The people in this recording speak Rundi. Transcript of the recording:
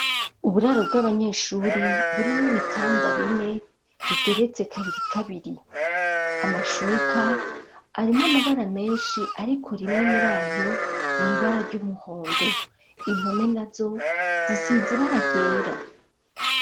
Uburaro bw'abanyeshuri burimwo ibitanda bine bigeretse kabiri kabiri, amashuka arimwo amabara menshi ariko rimwe muri ayo nibara ry'umuhondo ,impome nazo zisize ibara ryera.